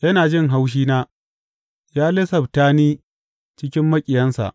Yana jin haushina ya lissafta ni cikin maƙiyansa.